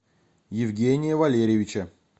евгения валерьевича